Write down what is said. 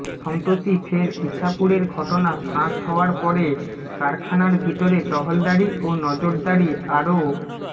সম্প্রতি ফের ইছাপুরের ঘটনা ফাঁস হওয়ার পরে কারখানার ভিতরে টহলদারি ও নজরদারি আরও